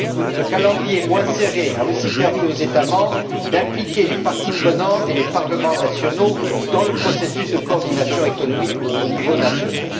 Ce calendrier moins serré a aussi permis aux États membres d'impliquer les parties prenantes et les parlements nationaux dans le processus de coordination économique au niveau national.